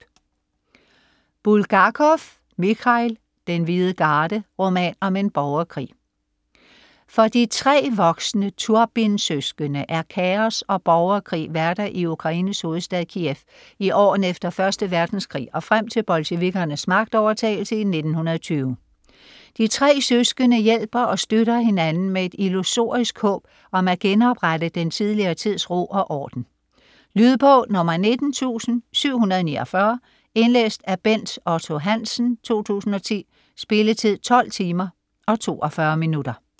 Bulgakov, Michail: Den hvide garde: roman om en borgerkrig For de tre voksne Turbin-søskende er kaos og borgerkrig hverdag i Ukraines hovedstad Kiev i årene efter 1. verdenskrig og frem til bolsjevikkernes magtovertagelse i 1920. De tre søskende hjælper og støtter hinanden med et illusorisk håb om at genoprette den tidligere tids ro og orden. Lydbog 19749 Indlæst af Bent Otto Hansen, 2010. Spilletid: 12 timer, 42 minutter.